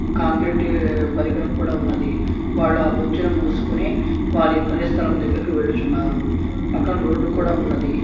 Concrete పరికరం కూడా ఉన్నది. వాళ్లు ఆ బొచ్చాను మూసుకుని వారి యొక్క పని స్థలము దగిరకు వెళ్ళుచున్నారు. పక్కన రోడ్డు కూడా ఉన్నది.